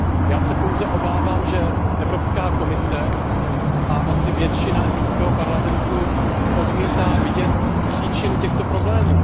Já se pouze obávám, že Evropská komise a asi většina Evropského parlamentu odmítá vidět příčinu těchto problémů.